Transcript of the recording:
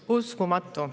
Uskumatu!